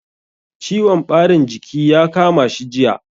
Ciwon ɓarin jiki ya kama shi jiya.